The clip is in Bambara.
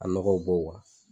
A nɔgɔw bɔ